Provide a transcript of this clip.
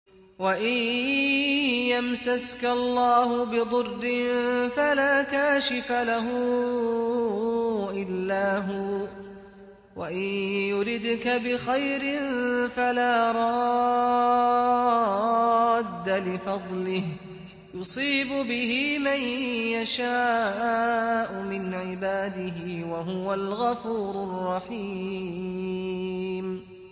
وَإِن يَمْسَسْكَ اللَّهُ بِضُرٍّ فَلَا كَاشِفَ لَهُ إِلَّا هُوَ ۖ وَإِن يُرِدْكَ بِخَيْرٍ فَلَا رَادَّ لِفَضْلِهِ ۚ يُصِيبُ بِهِ مَن يَشَاءُ مِنْ عِبَادِهِ ۚ وَهُوَ الْغَفُورُ الرَّحِيمُ